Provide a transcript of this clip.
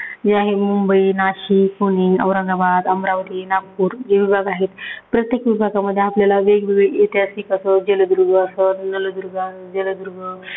या आहे मुंबई, नाशिक, पुणे, औरंगाबाद, अमरावती, नागपूर हे विभाग आहेत. प्रत्येक विभागामध्ये आपल्याला वेगवेगळे ऐतेहासिक असो, जलदुर्ग असो, नळदुर्ग, जलदुर्ग, नळदुर्ग.